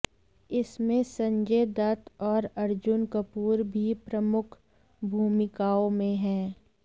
इसमें संजय दत्त और अर्जुन कपूर भी प्रमुख भूमिकाओं में हैं